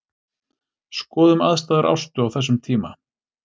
Skoðum aðstæður Ástu á þessum tíma.